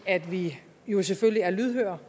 at vi jo selvfølgelig er lydhøre